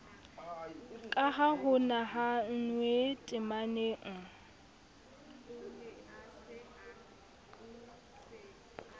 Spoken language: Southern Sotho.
ka ha ho nahannwe temaneng